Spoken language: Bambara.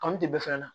Kanu tɛ bɛɛ fɛn na